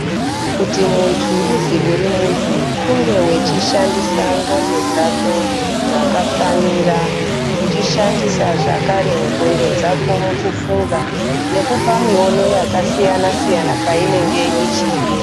Kuti munthu uzi uri munthu kunge wechishandisa ndxondo dzako zvakafanira uchishandisa zvakare ndxondo dzako mukufunga nekupa miono yakasiyana siyana painenge ichidiwa.